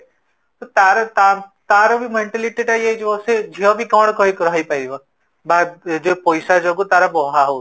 ତ ତାର ତାର mentality ଟା ୟେ ହେଇଯିବ ସେ ଝିଅ ବି କଣ କହିପାରିବ, ପଇସା ଯୋଗୁ ତାର ହଉନି